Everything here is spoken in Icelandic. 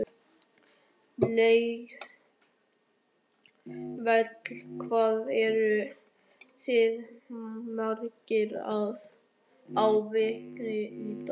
Lillý Valgerður: Hvað eruð þið margir á vaktinni í dag?